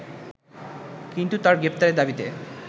কিন্তু তার গ্রেপ্তারের দাবিতে